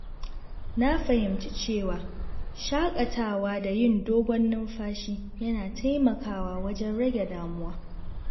Na fahimci cewa shaƙatawa da yin dogon numfashi yana taimakawa wajen rage damuwa.